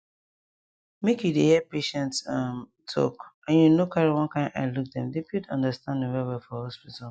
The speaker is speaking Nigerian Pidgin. make you dey hear patients um talk and you no carry one kind eye look dem dey build understanding well well for hospital